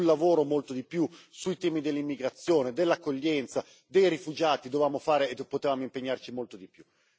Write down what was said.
Sul lavoro molto di più, sui temi dell'immigrazione e dell'accoglienza dei rifugiati dovevamo fare e potevamo impegnarci molto di più.